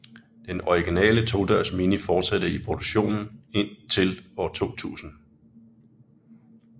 Den originale todørs Mini fortsatte i produktion indtil år 2000